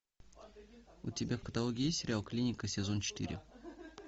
у тебя в каталоге есть сериал клиника сезон четыре